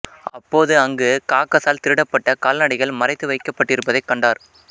அப்போது அங்கு காகசால் திருடப்பட்ட கால்நடைகள் மறைத்து வைக்கபட்டிருப்பதைக் கண்டார்